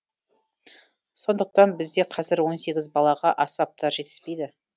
сондықтан бізде қазір он сегіз балаға аспаптар жетіспейді